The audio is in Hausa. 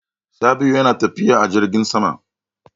Sabi'u yana tafiya a jirgin sama.